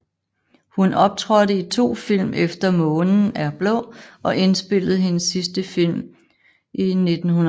Hun optrådte i to film efter månen er blå og indspillede hendes sidste film i 1963